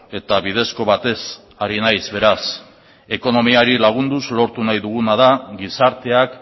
eta bidezko batez ari naiz beraz ekonomiari lagunduz lortu nahi duguna da gizarteak